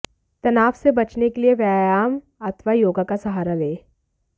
तनाव से बचने के लिए व्यायाम अथवा योगा का सहारा लें